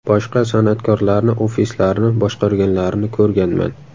Boshqa san’atkorlarni ofislarini boshqarganlarini ko‘rganman.